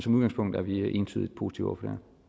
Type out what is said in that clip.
udgangspunktet er vi entydigt positive